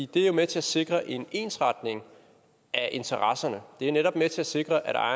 det er jo med til at sikre en ensretning af interesserne det er netop med til at sikre at